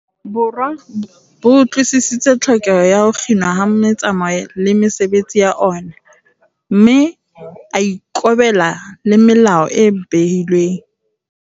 Borwa bo utlwi-sisitse tlhokeho ya ho kginwa ha metsamao le mesebetsi ya ona, mme a ikobela le melao e behilweng.